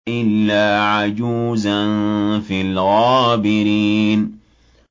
إِلَّا عَجُوزًا فِي الْغَابِرِينَ